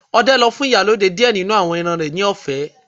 Ọdẹ lọ fun Ìyálode diẹ ninu awọn ẹran rẹ ni ọfẹ